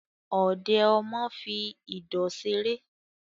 Ọ̀dẹ̀ ọmọ fi ìdọ̀ ṣeré